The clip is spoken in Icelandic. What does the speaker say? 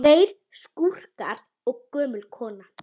Tveir skúrkar og gömul kona